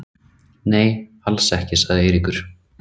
Nei, alls ekki sagði Eiríkur.